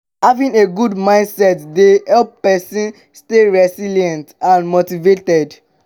having a good mindset dey help pesin stay resilience and motivated.